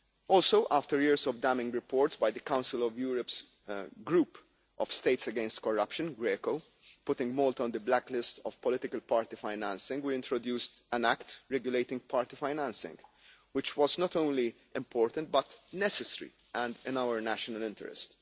Also, after years of damning reports by the Council of Europe's Group of States against Corruption putting Malta on the blacklist of political party financing, we introduced an act regulating party financing, which was not only important but necessary and in our national interest.